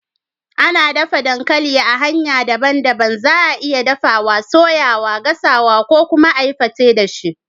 Ana daffa dankali a hanya dabban dabban. Za'a iya daffa, soya, gasa ko kuma a yi pete da shi.